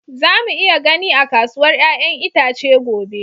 Za mu iya gani a kasuwar 'ya'yan itace gobe